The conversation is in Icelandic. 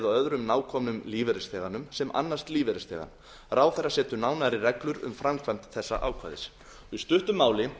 öðrum nákomnum lífeyrisþeganum sem annast lífeyrisþegann ráðherra setur nánari reglur um framkvæmd þessa ákvæðis í stuttu máli